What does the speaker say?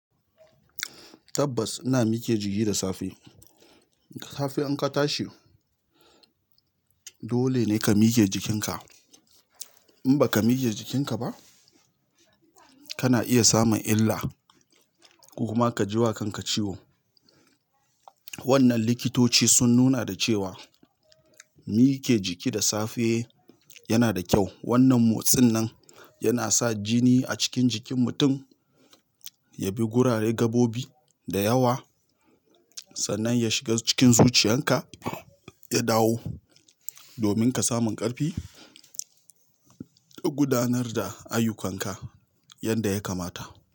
Tabbas ina mike jiki da safe. Safe in ka tashi, dole ne ka mike jikinka. In ba ka mike jikinka ba, kana iya samun illa ko kuma ka ji wa kanka ciwo. Wannan likitoci sun nuna da cewa, mike jiki da safe yana da kyau. Wannan motsin nan yana sa jini a cikin jikin mutum ya bi gurare gabobi da yawa, sannan ya shiga cikin zuciyarka, ya dawo. Domin ka samun ƙarfi, ka gudanar da ayyukanka. Yanda ya kamata.